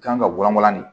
Kan ka gulɔmin de